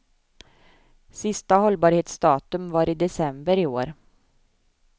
Sista hållbarhetsdatum var i december i år.